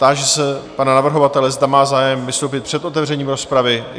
Táži se pana navrhovatele, zda má zájem vystoupit před otevřením rozpravy.